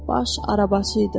Baş arabaçı idi.